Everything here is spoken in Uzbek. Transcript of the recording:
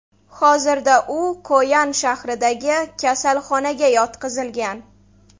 Hozirda u Koyan shahridagi kasalxonaga yotqizilgan.